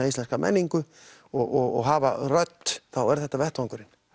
íslenska menningu og hafa rödd er þetta vettvangurinn